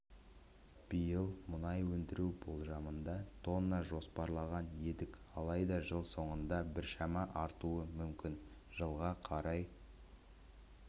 биыл мұнай өндіру болжамында тоннаны жоспарлаған едік алайда жыл соңында біршама артуы мүмкін жылға қарай